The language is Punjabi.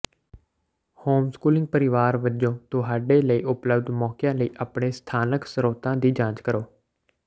ਹੋਮਸਕੂਲਿੰਗ ਪਰਿਵਾਰ ਵਜੋਂ ਤੁਹਾਡੇ ਲਈ ਉਪਲਬਧ ਮੌਕਿਆਂ ਲਈ ਆਪਣੇ ਸਥਾਨਕ ਸਰੋਤਾਂ ਦੀ ਜਾਂਚ ਕਰੋ